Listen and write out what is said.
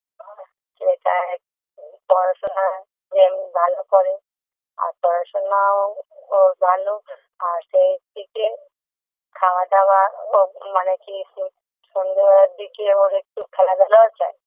ছেলেটা এক পড়াশোনা এমনি ভালো করে আর পড়াশোনাও ওর ভালো আর সেই থেকে খাওয়া দাওয়া ওর মানে খেয়েছে সন্ধে বেলার দিকে ওর একটু খেলাধুলাও চাই